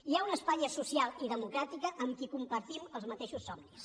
hi ha una espanya social i democràtica amb qui compartim els mateixos somnis